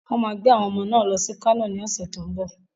Wọ́n máa gbé àwọn ọmọ náà lọ sí Kano ní ọ̀sẹ̀ tó ń bọ̀.